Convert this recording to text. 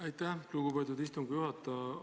Aitäh, lugupeetud istungi juhataja!